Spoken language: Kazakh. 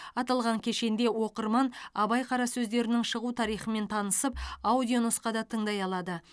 аталған кешенде оқырман абай қара сөздерінің шығу тарихымен танысып аудионұсқада тыңдай алады